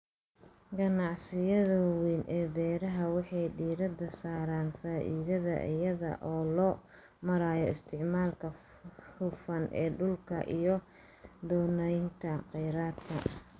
Ganacsiyada waaweyn ee beeraha waxay diiradda saaraan faa'iidada iyada oo loo marayo isticmaalka hufan ee dhulka iyo qoondaynta kheyraadka.